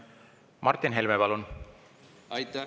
Martin Helme, palun!